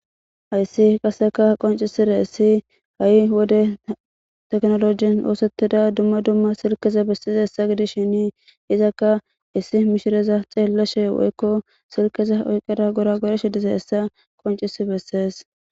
Hayssi qasseka qonccisizayssi ha'ii wode tekkinolojjen ossetida dumma dumma silkeza bessishin izzaka issi missileza xellashe woykko silkeza oykkada gorogorsshe diizayssa qonccisses.